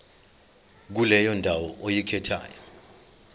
kuleyo ndawo oyikhethayo